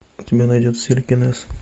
у тебя найдется телекинез